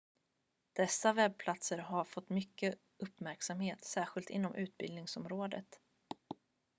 dessa webbplatser har fått mycket uppmärksamhet särskilt inom utbildningsområdet